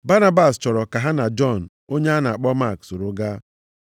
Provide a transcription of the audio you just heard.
Banabas chọrọ ka ha na Jọn onye a na-akpọ Mak soro gaa.